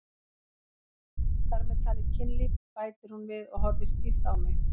Þar með talið kynlíf, bætir hún við og horfir stíft á mig.